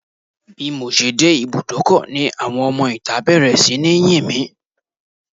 Bímọ ṣe dé ibúdókọ̀ ni àwọn ọmọ ìta bẹ̀rẹ̀ sí ní yìn mí